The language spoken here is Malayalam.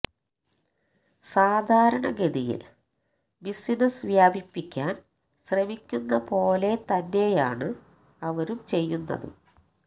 സാധാരണഗതിയില് ബിസിനസ് വ്യാപിപ്പിക്കാന് ശ്രമിക്കുന്ന പോലെ തന്നെയാണ് അവരും ചെയ്യുന്നത്